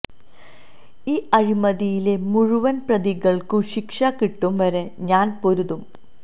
ഈ അഴിമതിയിലെ മുഴുവന് പ്രതികള്ക്കും ശിക്ഷ കിട്ടും വരെ ഞാന് പൊരുതും